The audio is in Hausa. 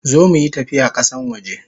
Zo muyi tafiya kasan waje!